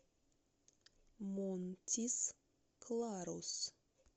монтис кларус